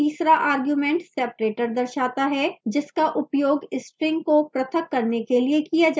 तीसरा argument separator दर्शाता है जिसका उपयोग string को पृथक करने के लिए किया जायेगा